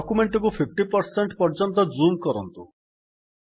document ଟିକୁ 50 ପର୍ଯ୍ୟନ୍ତ zoom କରନ୍ତୁ